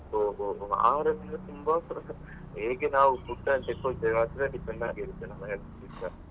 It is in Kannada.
ಹೋ ಹೋ ಹೇಗೆ ನಾವು food ನ್ನು ತೆಕೊಳ್ತೀವಿ ಅದ್ರ depend ಆಗಿರುತ್ತೆ ನಮ್ಮ health .